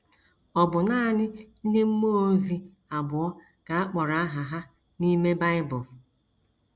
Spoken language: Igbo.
Ọ bụ nanị ndị mmụọ ozi abụọ ka a kpọrọ aha ha n’ime Bible.